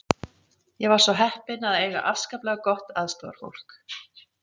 Ég var svo heppin að eiga afskaplega gott aðstoðarfólk.